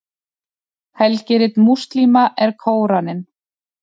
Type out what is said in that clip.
helgirit múslíma er kóraninn